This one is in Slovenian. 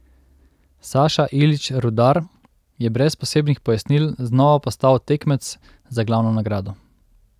Saša Ilić Rudar je brez posebnih pojasnil znova postal tekmec za glavno nagrado.